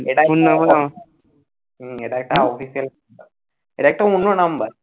এটা নিয়ে হম এটা একটা office এর এটা একটা অন্য number